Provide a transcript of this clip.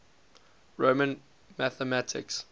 roman mathematics